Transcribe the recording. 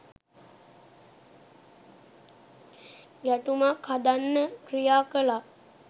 ගැටුමක් හදන්න ක්‍රියා කළා